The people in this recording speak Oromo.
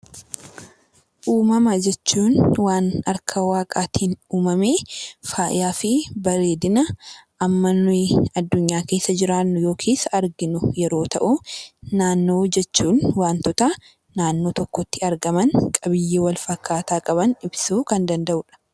Uumama jechuun waan harka Waaqaatiin uumamee, faayaa fi bareedina amma nuyi addunyaa keessa jiraannu yookiin arginu yoo ta'u, naannoo jechuun waantota naannoo tokkotti argaman, qabiyyee walfakkaataa qaban ibsuu kan danda'udha.